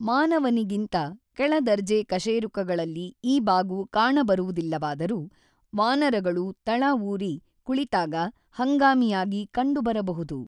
ಮಾನವನಿಗಿಂತ ಕೆಳದರ್ಜೆ ಕಶೇರುಕಗಳಲ್ಲಿ ಈ ಬಾಗು ಕಾಣಬರುವುದಿಲ್ಲವಾದರೂ ವಾನರಗಳು ತಳಊರಿ ಕುಳಿತಾಗ ಹಂಗಾಮಿಯಾಗಿ ಕಂಡುಬರಬಹುದು.